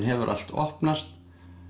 hefur allt opnast